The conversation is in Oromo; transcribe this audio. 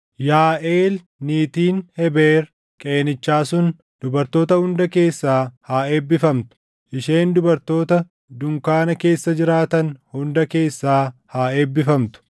“Yaaʼeel niitiin Hebeer Qeenichaa sun dubartoota hunda keessaa haa eebbifamtu; isheen dubartoota dunkaana keessa jiraatan hunda keessaa haa eebbifamtu.